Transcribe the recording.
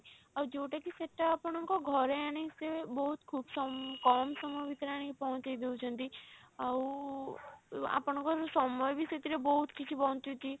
ଆଉ ଯଉଟା କି ସେଟା ଆପଣଙ୍କ ଘରେ ଆଣିକି ସେ ବହୁତ ଖୁବ୍ କମ ସମୟ ଭିତରେ ଆଣିକି ପହଞ୍ଚେଇ ଦଉଛନ୍ତି ଆଉ ଆପଣଙ୍କର ସମୟ ବି ସେଥିରେ ବହୁତ କିଛି ବଞ୍ଚୁଛି।